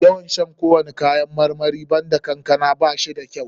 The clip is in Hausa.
Yawan shan kowani kayan marmari banda kankama ba shi da kyau.